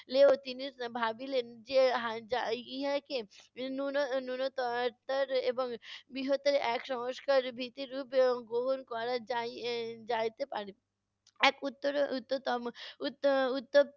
তিনি ভাবিলেন যে হা~ ইহাকে ন্যূন~ ন্যুনত র এবং বৃহত্তর এক সংস্কারের ভিত্তিরুপে গ্রহণ করা যাই~ যাইতে পারে। এক